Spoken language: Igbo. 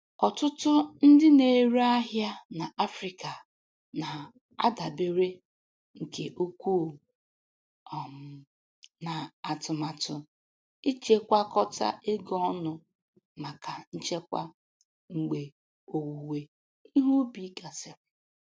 Ọtụtụ ndị na-ere ahịa na Afrịka na-adabere nke ukwuu um na atụmatụ ichekwakọta ego ọnụ maka nchekwa mgbe owuwe ihe ubi gasịrị.